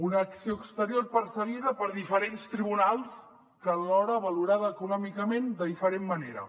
una acció exterior perseguida per diferents tribunals alhora valorada econòmicament de diferent manera